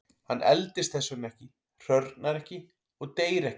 Hann eldist þess vegna ekki, hrörnar ekki og deyr ekki.